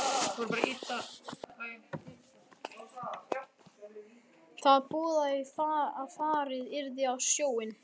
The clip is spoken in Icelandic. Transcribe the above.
Það boðaði að farið yrði á sjóinn.